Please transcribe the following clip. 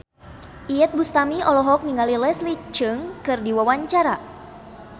Iyeth Bustami olohok ningali Leslie Cheung keur diwawancara